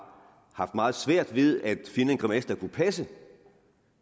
haft meget svært ved at finde en grimasse der kunne passe